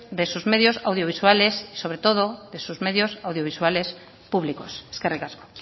de sus medios audiovisuales y sobre todo de sus medios audiovisuales públicos eskerrik asko